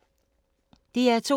DR2